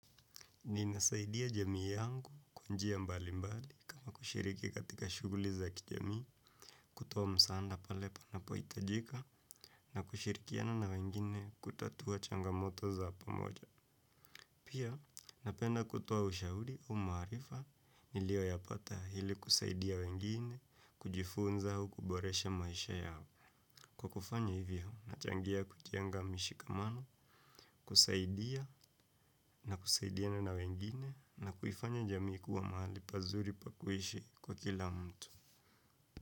Ninasaidia jamii yangu kwanjia mbali mbali kama kushiriki katika shuguli za kijamii, kutoa msaanda pale panapo itajika na kushirikiana na wengine kutatua changamoto za pamoja. Pia napenda kutoa ushauri o maarifa nilio yapata hili kusaidia wengine kujifunza au kuboresha maisha yao. Kwa kufanya hivyo, nachangia kujenga mishikamano, kusaidia na kusaidiana na wengine na kuifanya jamii kua mahali pazuri pakuishi kwa kila mtu.